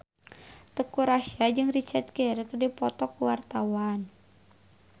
Teuku Rassya jeung Richard Gere keur dipoto ku wartawan